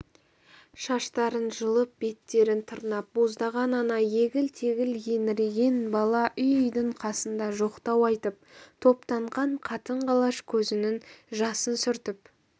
шаштарын жұлып беттерін тырнап боздаған ана егіл-тегіл еңіреген бала үй-үйдің қасында жоқтау айтып топтанған қатын-қалаш көзінің жасын сүртіп